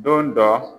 Don dɔ